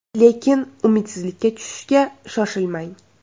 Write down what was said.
Lekin umidsizlikka tushishga shoshilmang!